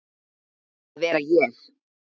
að vera ég.